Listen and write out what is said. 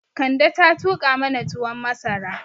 Kande ta tuƙa mana tuwon masara